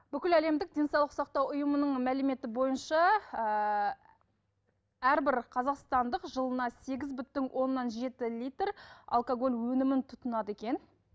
бүкіл әлемдік денсаулық сақтау ұйымының мәліметі бойынша ыыы әрбір қазақстандық жылына сегіз бүтін оннан жеті литр алкоголь өнімін тұтынады екен